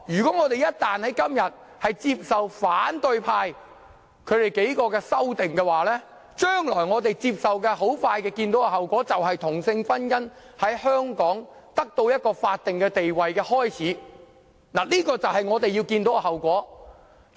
今天一旦接受反對派數名議員提出的修正案，我們即將看到這是同性婚姻得到法定地位之始，這就是我們將會看到的後果。